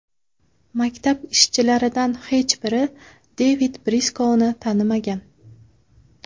Maktab ishchilaridan hech biri Devid Briskouni tanimagan.